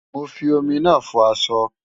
Mo fi omi náà fọ aṣọ.